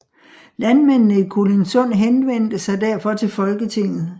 Landmændene i Kolindsund henvendte sig derfor til Folketinget